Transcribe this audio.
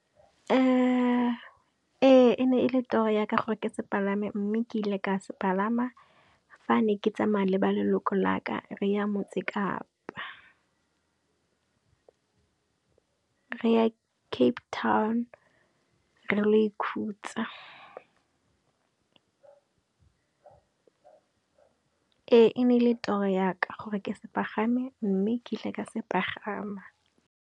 Ee e ne e le toro yaka gore ke se palame mme ke ile ka se palama fa ne ke tsamaya le ba leloko laka re ya Motsekapa. Re ya Cape Town re ile go ikhutsa. Ee e ne ele toro yaka gore ke se pagame, mme ke ile ka se pagama.